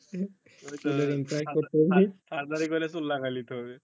ওই তো surgery করে চুল লাগাই লিতে হবে